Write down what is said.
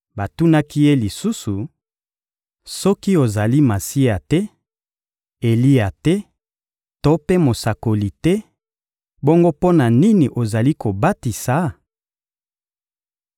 Batunaki ye lisusu: — Soki ozali Masiya te, Eliya te to mpe mosakoli te, bongo mpo na nini ozali kobatisa?